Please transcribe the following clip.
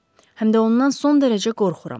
Həm də ondan son dərəcə qorxuram.